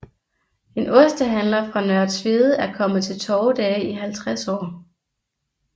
En ostehandler fra Nørre Tvede er kommet til torvedage i 50 år